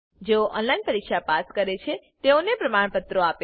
જેઓ ઓનલાઈન પરીક્ષા પાસ કરે છે તેઓને પ્રમાણપત્રો આપે છે